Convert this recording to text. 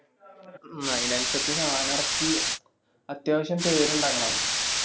മ്മ് അയിന് അനുസരിച്ചു സാനം എറക്കി അത്യാവശ്യം പേരിണ്ടാക്കണം